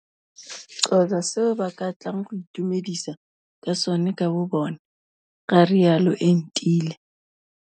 Xhosa seo ba ka tlang go itumedisa ka sone ka bobone, ga rialo Entile.